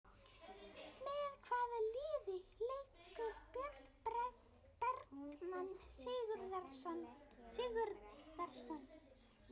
Með hvaða liði leikur Björn Bergmann Sigurðarson?